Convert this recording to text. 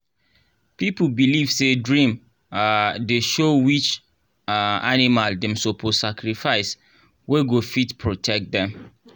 people believe say dream um dey show which um animal dem suppose sacrifice wey go fit protect them